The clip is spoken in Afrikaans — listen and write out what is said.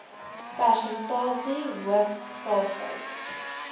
persentasie hoof kalftyd